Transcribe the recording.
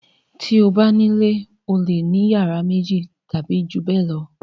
Bí o bá nílé o le ní ìyàrá méjì tàbí ju bẹ́ẹ̀ lọ.